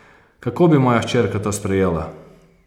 Kako bi moja hčerka to sprejela?